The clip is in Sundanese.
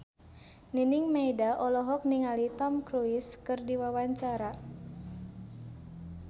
Nining Meida olohok ningali Tom Cruise keur diwawancara